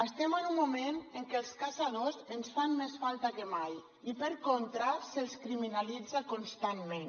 estem en un moment en què els caçadors ens fan més falta que mai i per contra se’ls criminalitza constantment